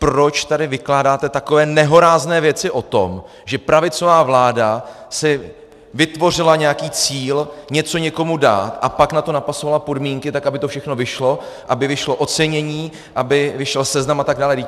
Proč tady vykládáte takové nehorázné věci o tom, že pravicová vláda si vytvořila nějaký cíl něco někomu dát, a pak na to napasovala podmínky tak, aby to všechno vyšlo, aby vyšlo ocenění, aby vyšel seznam atd.?